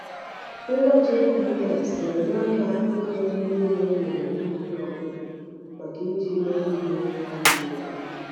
Ngwa GPS na-enye aka ide ihe niile emere n’ubi ọ bụla maka iji mee ihe n’ọdịnihu.